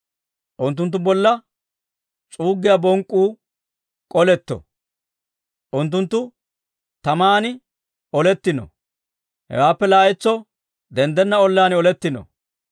Unttunttu bolla s'uuggiyaa bonk'k'uu k'oletto; unttunttu taman olettino; hewaappe laa"entso denddenna olan oletino.